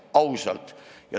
Ausalt.